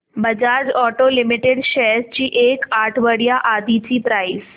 Bajaj auto limited shares ची एक आठवड्या आधीची प्राइस